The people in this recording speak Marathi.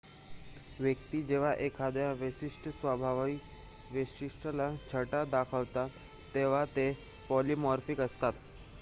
व्यक्ती जेव्हा एखाद्या विशिष्ट स्वभाववैशिष्ट्याच्या छटा दाखवतात तेव्हा ते पॉलिमॉर्फिक असतात